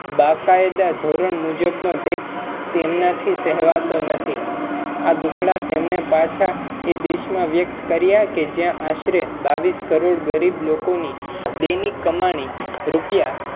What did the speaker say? બાકાયદા ધોરણ મુજબનો tax તેમનાથી સેહવાતો નાથી આ દુખડા તેમણે પાછા એ દેશમા કર્યા છે જ્યા આશ્રય બાઇસ કરોડ ગરીબ લોકની દૈનિક કમાણી છે